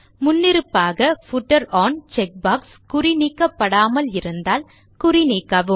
முன்னிருப்பாக footer one checkbox குறிநீக்கப்படாமல் இருந்தால் குறிநீக்கவும்